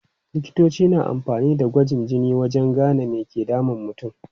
Likitoci na amfani da gwajin jini wajen gane me ke damun mutum.